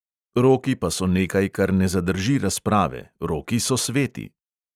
Roki pa so nekaj, kar ne zadrži razprave, roki so sveti.